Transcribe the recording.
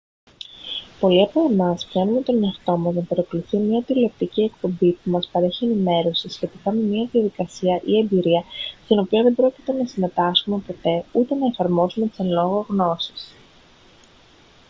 πολλοί από εμάς πιάνουμε τον εαυτό μας να παρακολουθεί μια τηλεοπτική εκπομπή που μας παρέχει ενημέρωση σχετικά με μια διαδικασία ή εμπειρία στην οποία δεν πρόκειται να συμμετάσχουμε ποτέ ούτε να εφαρμόσουμε τις εν λόγω γνώσεις